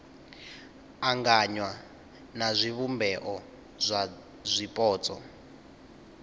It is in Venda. anganywa na zwivhumbeo zwa zwipotso